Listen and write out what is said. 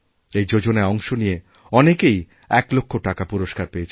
এই যোজনায় অংশ নিয়ে অনেকেই ১ লক্ষ টাকাপুরস্কার পেয়েছেন